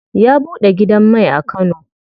Ya buɗe gidan mai a kano.